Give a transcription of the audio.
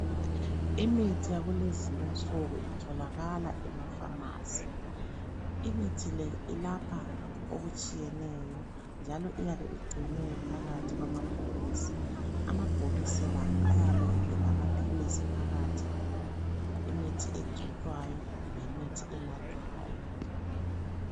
Imithi yakulezi insuku itholakala ema pharmacy. Imithi le ilapha okutshiyeneyo njalo iyabe igcinwe phakathi kwamabhokisi, amabhokisi la ayabe elamaphilisi phakathi, imithi egcotshwayo, kumbe imithi enathwayo.